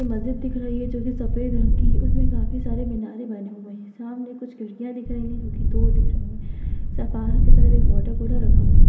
मस्जिद दिख रही है जो कि सफ़ेद रंग की उसमें काफी सारे मीनारे बने हुए हैं सामने कुछ खिड़कियाँ दिख रही हैं जिनकी दो डिज़ाइन हैं बाहर की तरफ एक वाटरकूलर रखा हुआ है।